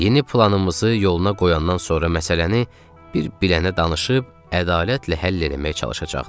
Yeni planımızı yoluna qoyandan sonra məsələni bir bilənə danışıb ədalətlə həll eləməyə çalışacaqdıq.